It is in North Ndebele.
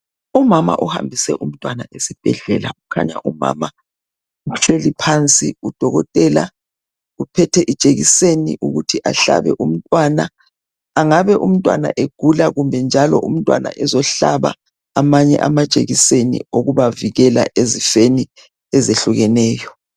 Umama uhambise umntwana esibhedlela kukhanya umama uhleli phansi udokotela uphethe ijekiseni ukuthi ahlabe umntwana. Angabe umntwana egula kumbe njalo umntwana ezohlaba amanye amajekiseni okubavikela ezifeni ezitshiyeneyo.